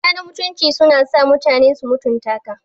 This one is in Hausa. Shiga na mutunci na sa mutane su mutunta ka.